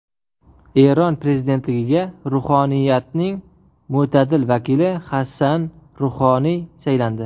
Eron prezidentligiga ruhoniyatning mo‘tadil vakili Hasan Ruhoniy saylandi.